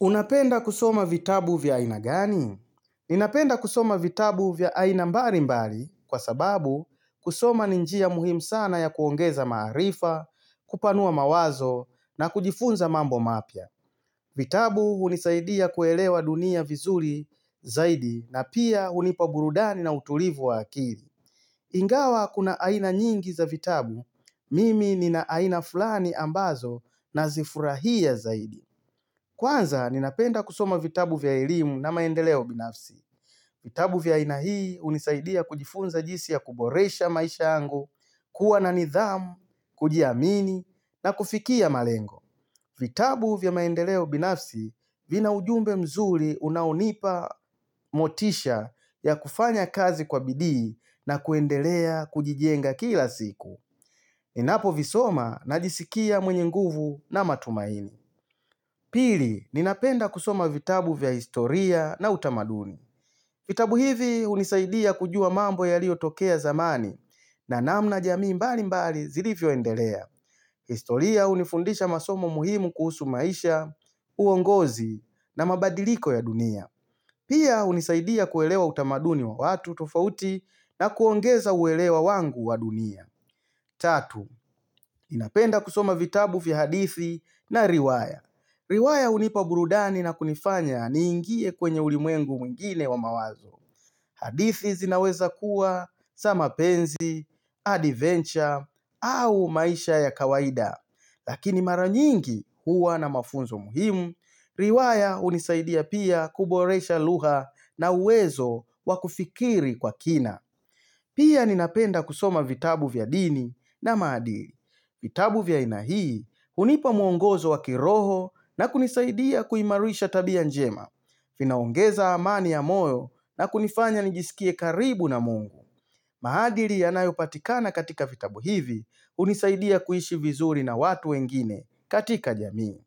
Unapenda kusoma vitabu vya aina gani? Ninapenda kusoma vitabu vya aina mbali mbali kwa sababu kusoma ni njia muhimu sana ya kuongeza maarifa, kupanua mawazo na kujifunza mambo mapya. Vitabu hunisaidia kuelewa dunia vizuri zaidi na pia hunipaburudani na utulivu wa akili. Ingawa kuna aina nyingi za vitabu, mimi nina aina fulani ambazo na zifurahia zaidi. Kwanza, ninapenda kusoma vitabu vya elimu na maendeleo binafsi. Vitabu vya aina hii hunisaidia kujifunza jinsi ya kuboresha maisha yangu, kuwa na nidhamu, kujiamini, na kufikia malengo. Vitabu vya maendeleo binafsi vina ujumbe mzuri unaonipa motisha ya kufanya kazi kwa bidii na kuendelea kujijenga kila siku. Ninapo visoma najisikia mwenye nguvu na matumaini. Pili, ninapenda kusoma vitabu vya historia na utamaduni. Vitabu hivi, hunisaidia kujua mambo yaliyotokea zamani na namna jamii mbali mbali zilivyo endelea. Historia, hunifundisha masomo muhimu kuhusu maisha, uongozi na mabadiliko ya dunia. Pia, hunisaidia kuelewa utamaduni wa watu tofauti na kuongeza uelewa wangu wa dunia. Tatu, ninapenda kusoma vitabu vya hadithi na riwaya. Riwaya hunipa burudani na kunifanya ni ingie kwenye ulimwengu mwingine wa mawazo. Hadithi zinaweza kuwa, za mapenzi, adventure, au maisha ya kawaida. Lakini mara nyingi huwa na mafunzo muhimu, riwaya hunisaidia pia kuboresha lugha na uwezo wa kufikiri kwa kina. Pia ninapenda kusoma vitabu vya dini na maadili. Vitabu vya aina hii, hunipa muongozo wa kiroho na kunisaidia kuimarisha tabia njema. Vinaongeza amani ya moyo na kunifanya njisikie karibu na mungu. Maadili yanayopatikana katika vitabu hivi, hunisaidia kuishi vizuri na watu wengine katika jamii.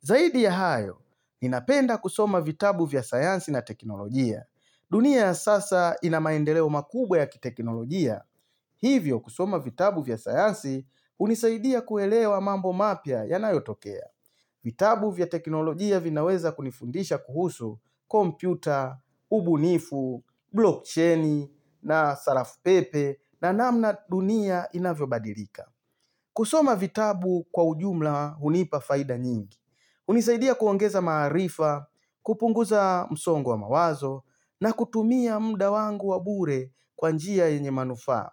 Zaidi ya hayo, ninapenda kusoma vitabu vya sayansi na teknolojia. Dunia ya sasa inamaendeleo makubwa ya kitekinolojia. Hivyo kusoma vitabu vya sayansi hunisaidia kuelewa mambo mapya yanayotokea. Vitabu vya teknolojia vinaweza kunifundisha kuhusu kompyuta, ubunifu, blockchain na sarafupepe na namna dunia inavyobadilika. Kusoma vitabu kwa ujumla hunipa faida nyingi. Hunisaidia kuongeza maarifa, kupunguza msongo wa mawazo na kutumia muda wangu wa bure kwa njia yenye manufaa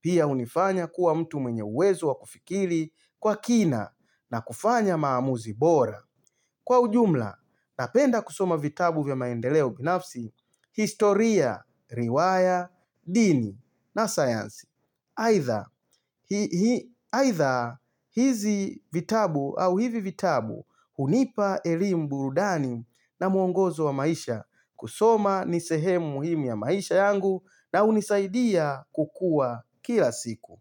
Piah unifanya kuwa mtu mwenye uwezo wa kufikiri kwa kina na kufanya maamuzi bora Kwa ujumla, napenda kusoma vitabu vya maendeleo binafsi, historia, riwaya, dini na science aidha hizi vitabu au hivi vitabu hunipa elimu burudani na muongozo wa maisha kusoma ni sehemu muhimu ya maisha yangu na hunisaidia kukua kila siku.